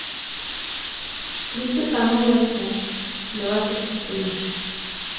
включи ка новости двадцать четыре